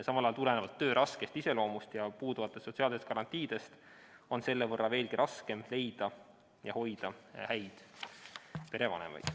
Samal ajal on töö raske iseloomu ja puuduvate sotsiaalsete garantiide tõttu veelgi raskem leida ja hoida häid perevanemaid.